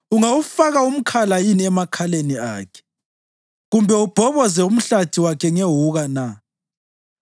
Ungawufaka umkhala yini emakhaleni akhe kumbe ubhoboze umhlathi wakhe ngewuka na?